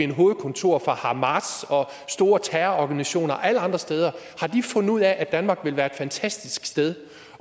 hovedkontor for hamas og store terrororganisationer og alle andre steder fundet ud af at danmark vil være et fantastisk sted